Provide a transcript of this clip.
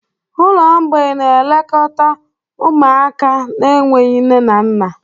Ụlọ mgbei na-elekọta ụmụaka na-enweghị nne na nna.